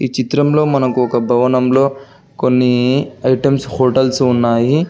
ఈ చిత్రంలో మనకు ఒక భవనంలో కొన్ని ఐటమ్స్ హోటల్స్ ఉన్నాయి.